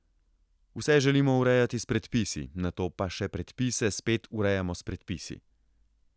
Vse želimo urejati s predpisi, nato pa še predpise spet urejamo s predpisi.